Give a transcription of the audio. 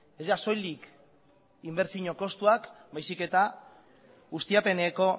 ez soilik inbertsio kostuak baizik eta ustiapeneko